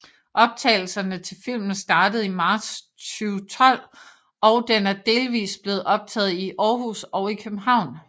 Optagelserne til filmen startede i marts 2012 og den er delvis blevet optaget i Aarhus og i København